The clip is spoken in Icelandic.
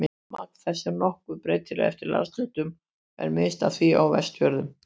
Magn þess er nokkuð breytilegt eftir landshlutum og er minnst af því á Vestfjörðum.